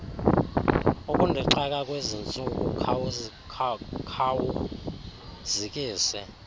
ukundixaka kwezintsuku khawuzikise